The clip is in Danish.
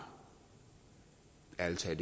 ærlig talt